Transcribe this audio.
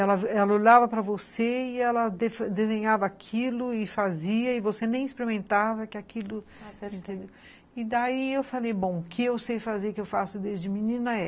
Ela olhava para você e ela desenhava aquilo e fazia, e você nem experimentava que aquilo... E daí eu falei, bom, o que eu sei fazer que eu faço desde menina é